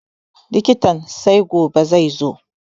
Likitan sai gobe zaizo